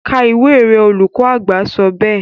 ka ìwé rẹ, olùkọ àgbà sọ bẹ́ẹ̀